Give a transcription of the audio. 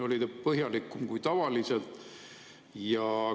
Oli ta põhjalikum kui tavaliselt?